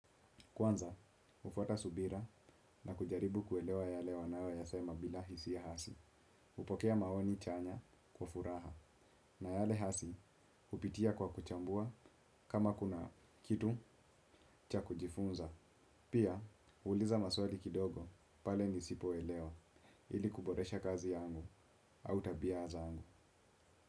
Kwanza, hufuata subira na kujaribu kuelewa yale wanayo yasema bila hisi ya hasi. Hupokea maoni chanya kwa furaha na yale hasi kupitia kwa kuchambua kama kuna kitu cha kujifunza. Pia, hu uliza maswali kidogo pale nisipoelewa ili kuboresha kazi yangu au tabia zangu.